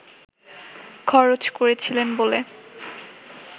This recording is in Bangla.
খরচ করেছিলেন বলে